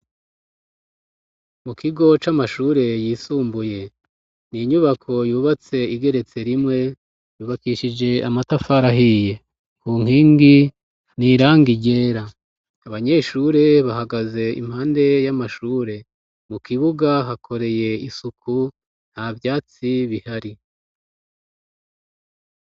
Mu kigo c'amashure yisumbuye n'inyubako yubatse igeretse rimwe yubakishije amatafari ahiye ku nkingi n'irangi ryera abanyeshure bahagaze impande y'amashure mu kibuga hakoreye isuku nta vyatsi bihari.